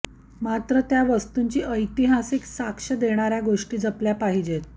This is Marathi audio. मात्र त्या वास्तूंची ऐतिहासिक साक्ष देणार्या गोष्टी जपल्या पाहिजेत